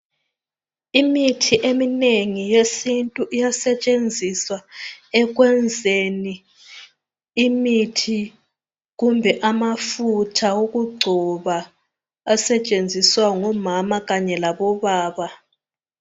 Imithi eminengi yesintu iyasetshenziswa, ekwenzeni imithi kumbe amafutha okugcoba asetshenziswa ngomama kanye labobaba